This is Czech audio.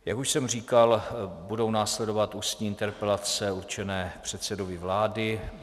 Jak už jsem říkal, budou následovat ústní interpelace určené předsedovi vlády.